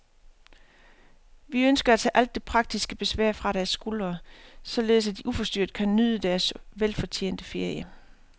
Vi ønsker at tage alt det praktiske besvær fra deres skuldre, således at de uforstyrret kan nyde deres velfortjente ferie.